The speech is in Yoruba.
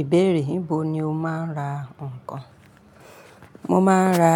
Ìbéèrè, níbo ni o máa ń ra nǹkan? Mo máa ń ra